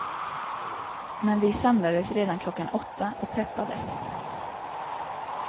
Men vi samlades redan klockan åtta och peppade.